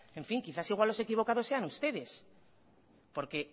en fin quizás igual los equivocados seanustedes porque